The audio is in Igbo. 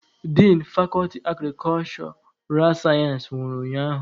Din fakọlti agrikulshura sayensị nwụrụ ụnyaahụ.